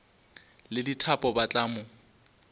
le dithapo ba tla mo